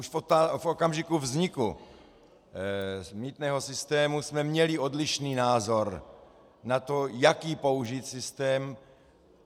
Už v okamžiku vzniku mýtného systému jsme měli odlišný názor na to, jaký použít systém.